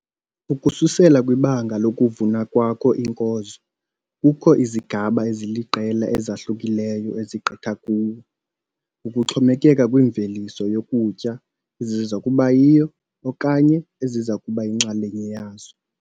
Ukususela kwibanga lokuvuna kwakho iinkozo kukho izigaba eziliqela ezahlukileyo ezigqitha kuwo, ukuxhomekeka kwimveliso yokutya eziza kuba yiyo okanye eziza kuba yinxalenye yazo.